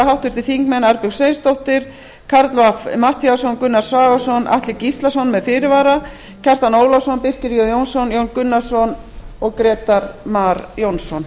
háttvirtir þingmenn arnbjörg sveinsdóttir karl fimmti matthíasson gunnar svavarsson atli gíslason með fyrirvara kjartan ólafsson birkir j jónsson jón gunnarsson og grétar mar jónsson